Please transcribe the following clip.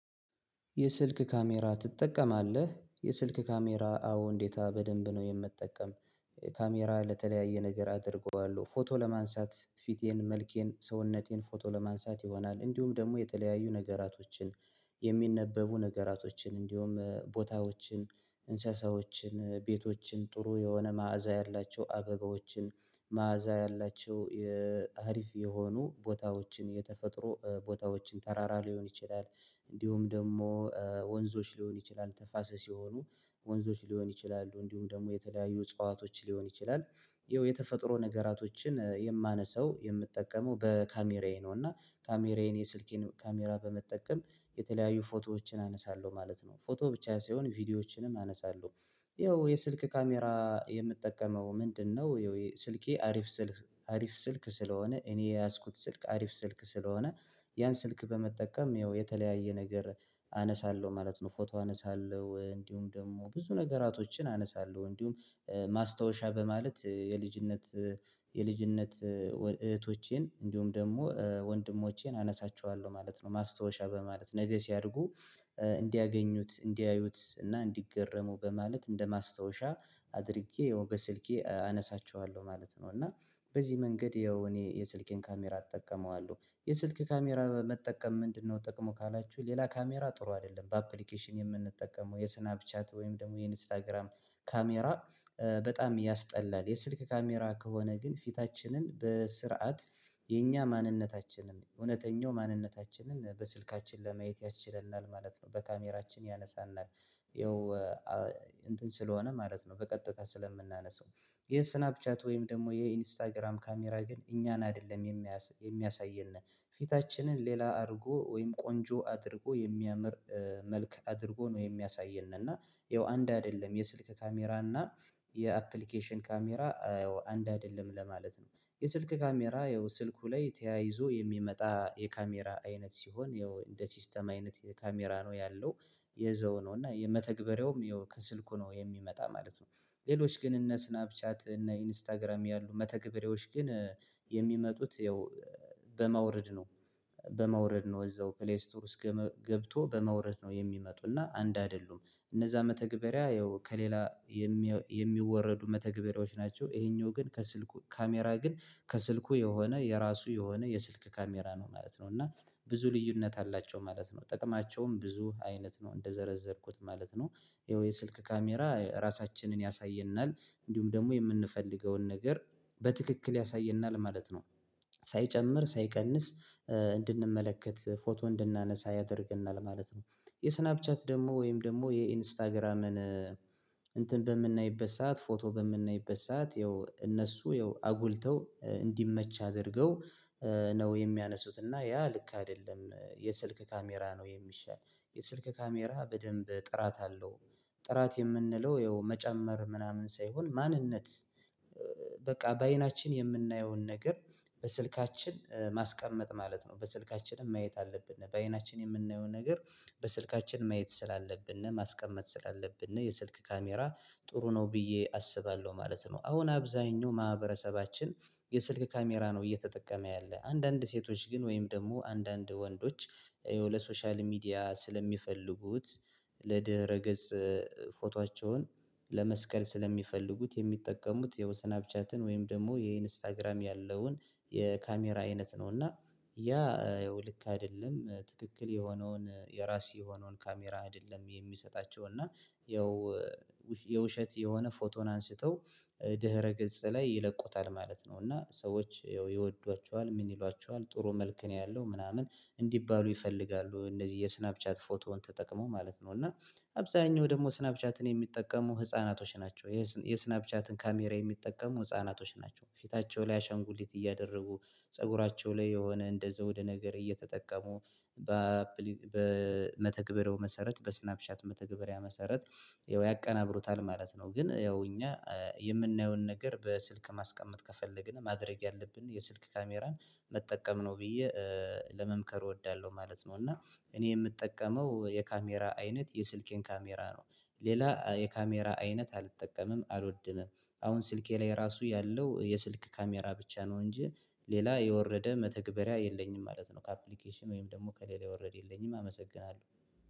የስልክ ካሜራ ትጠቀማለህ? የስልክ ካሜራ አዎ እንዴታ በደንብ ነው የምጠቀም ካሜራ ለተለያዩ ነገር አደርገዋለሁ ፎቶ ለማንሳት ፊቴን መልኬን ሰውነቴን ፎቶ ለማንሳት ይሆናል። እንዲሁም ደግሞ የተለያዩ ነገራቶችን የሚነበቡ ነገራቶችን እንዲሁም ቦታዎችን እንስሳዎችን ቤቶችን ጥሩ የሆነ መዓዛ ያላቸው አበባዎችን መዓዛ ያላቸው የአሪፍ የሆኑ ቦታዎችን የተፈጥሮ ቦታዎችን ተራራ ሊሆን ይችላል። እንዲሁም ደግሞ ወንዞች ሊሆን ይችላል ተፋሰስ የሆኑ ወንዞች ሊሆን ይችላሉ እንዲሁም ደግሞ የተለያዩ እጽዋቶች ሊሆን ይችላል። ይኸው የተፈጥሮ ነገራቶችን የማነሳው የምጠቀመው በካሜራዬ ነው እና ካሜራዬን የስልኬን ካሜራ በመጠቀም የተለያዩ ፎቶዎችን አነሳለሁ ማለት ነው። ፎቶ ብቻዬ ሳይሆን ቪዲዮዎችንም አነሳለሁ። ይኸው የስልክ ካሜራ የምጠቀመው ምንድነው? ስልኬ አሪፍ ስልክ አሪፍ ስልክ ስለሆነ እኔ የያዝኩት ስልክ አሪፍ ስልክ ስለሆነ ያን ስልክ በመጠቀም ይኸው የተለያየ ነገር አነሳለሁ ማለት ነው። ፎቶ አነሳለሁ እንዲሁም ደግሞ ብዙ ነገራቶችን አነሳለሁ እንዲሁም ማስታወሻ በማለት የልጅነት የልጅነት እህቶቼን እንዲሁም ደግሞ ወንድሞቼን አነሳቸዋለሁ ማለት ነው። ማስታወሻ በማለት ነገ ሲያርጉ እንዲያገኙት እንዲያዩት እና እንዲገረሙ በማለት እንደ ማስታወሻ አድርጌ ያው በስልኬ አነሳቸዋለሁ ማለት ነው። እና በዚህ መንገድ ያው እኔ የስልኬን ካሜራ አጠቀመዋለሁ የስልኬ ካሜራ መጠቀም ምንድነው? ጥቅሙ ካላችሁ ሌላ ካሜራ ጥሩ አይደለም በአፕሊኬሽን የምንጠቀመው የስናብ ቻት ወይም ደግሞ የኢንስታግራም ካሜራ በጣም ያስጠላል የስልክ ካሜራ ከሆነ ግን ፊታችንን በስርዓት የኛ ማንነታችንን እውነተኛው ማንነታችንን በስልካችን ለማየት ያስችለናል ማለት ነው። በካሜራችን ያነሳናል ይኸው እንትን ስለሆነ ማለት ነው። በቀጥታ ስለምናነሳው ይሄ ስናፕ ቻት ወይም ደግሞ የኢንስታግራም ካሜራ ግን እኛን አይደለም የሚያሳይነ ፊታችንን ሌላ አድርጎ ወይም ቆንጆ አድርጎ የሚያምር መልክ አድርጎ ነው የሚያሳየን። እና ይኸው አንድ አይደለም የስልክ ካሜራ እና የአፕሊኬሽን ካሜራ አንድ አይደለም ለማለት ነው። የስልክ ካሜራ ያው ስልኩ ላይ ተያይዞ የሚመጣ የካሜራ አይነት ሲሆን ይኸው እንደ ሲስተም አይነት የካሜራ ነው ያለው። ይዘው ነው እና የመተግበሪያውም ይኸው ከስልኩ ነው የሚመጣ ማለት ነው። ሌሎች ግን እነ ስናብ ቻት እነ ኢንስታግራም ያሉ መተግሪያዎች ግን የሚመጡት ያው በመውረድ ነው። በማውረድ ነው እዛው ፕሌይስቶር ውስጥ ገብቶ በመውረድ ነው የሚመጡና አንድ አይደሉም እነዛ መተግበሪያ ያው ከሌላ የሚወረዱ መተግበሪያዎች ናቸው። ይሄኛው ካሜራ ግን የሚሆነው ካሜራ ላይ የሚሆነው ካሜራ ላይ የሚሆነው ልዩነት አላቸው ማለት ነው። ጥቅማቸውም ብዙ አይነት ነው እንደዘረዘርኩት ማለት ነው። ይኸው የስልክ ካሜራ ራሳችንን ያሳየናል እንዲሁም ደግሞ የምንፈልገውን ነገር በትክክል ያሳየናል ማለት ነው። ሳይጨምር ሳይቀንስ እንድንመለከት ፎቶ እንድናነሳ ያደርገናል ማለት ነው። የስናፕ ቻት ደግሞ ወይም ደግሞ የኢንስታግራምን እንትን በምናይበት ሰዓት ፎቶ በምናይበት ሰዓት ያው እነሱ ይኸው አጉልተው እንዲመች አድርገው ነው የሚያነሱት እና ያ ልክ አይደለም የስልክ ካሜራ ነው የሚሻል። የስልክ ካሜራ በደንብ ጥራት አለው። ጥራት የምንለው ይኸው መጨመር ምናምን ሳይሆን ማንነት በቃ በአይናችን የምናየውን ነገር በስልካችን ማስቀመጥ ማለት ነው። በስልካችንም ማየት አለብን በአይናችን የምናየው ነገር በስልካችን ማየት ስላለብን ነው ማስቀመጥ ስላለብን ነው። የስልክ ካሜራ ጥሩ ነው ብዬ አስባለሁ ማለት ነው። አሁን አብዛኛው ማህበረሰባችን የስልክ ካሜራ ነው እየተጠቀመ ያለ አንዳንድ ሴቶች ግን ወይም ደግሞ አንዳንድ ወንዶች ያው ለሶሻል ሚዲያ ስለሚፈልጉት ለድህረ ገጽ ፎቶአቸውን ለመስቀል ስለሚፈልጉት የሚጠቀሙት የወሰናብ ቻትን ወይም ደግሞ የኢንስታግራም ያለውን የካሜራ አይነት ነው። እና ያ ያው ልክ አይደለም ትክክል የሆነውን የራስ የሆነውን ካሜራ አይደለም የሚሰጣቸው እና ያው የውሸት የሆነ ፎቶን አንስተው ድህረ ገጽ ላይ ይለቁታል ማለት ነው። እና ሰዎች ይወዷቸዋል ምን ይሏችኋል? ጥሩ መልክ ነው ያለው ምናምን እንዲባሉ ይፈልጋሉ። እነዚህ የስናፕ ቻት ፎቶውን ተጠቅሞ ማለት ነው። እና አብዛኛው ደግሞ ስናፕ ቻትን የሚጠቀሙ ህፃናቶች ናቸው። የስናፕቻትን ካሜራ የሚጠቀሙ ህፃናቶች ናቸው። ፊታቸው ላይ አሻንጉሊት እያደረጉ ፀጉራቸው ላይ የሆነ እንደዛው ወደ ነገር እየተጠቀሙ በመተግበሪያው መሰረት በስናፕሻት መተግበሪያ መሰረት ያቀናብሩታል ማለት ነው። ግን ያው እኛ የምናየውን ነገር በስልክ ማስቀመጥ ከፈለግን ማድረግ ያለብን የስልክ ካሜራን መጠቀም ነው ብዬ ለመምከር እወዳለሁ ማለት ነው። እና እኔ የምጠቀመው የካሜራ አይነት የስልኬን ካሜራ ነው። ሌላ የካሜራ አይነት አልጠቀምም አልወድምም። አሁን ስልኬ ላይ ራሱ ያለው የስልክ ካሜራ ብቻ ነው እንጂ ሌላ የወረደ መተግበሪያ የለኝም ማለት ነው። ከአፕሊኬሽን ወይም ደግሞ ከሌላ የወረድ የለኝም። አመሰግናለሁ።